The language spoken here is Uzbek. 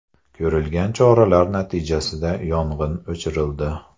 Ko‘rilgan choralar natijasida yong‘in o‘chirildi.